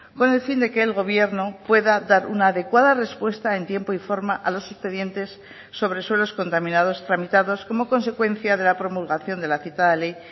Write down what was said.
con el fin de que el gobierno pueda dar una adecuada respuesta en tiempo y forma a los expedientes sobre suelos contaminados tramitados como consecuencia de la promulgación de la citada ley